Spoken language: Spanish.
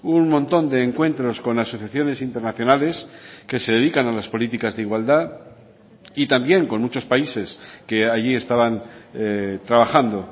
un montón de encuentros con asociaciones internacionales que se dedican a las políticas de igualdad y también con muchos países que allí estaban trabajando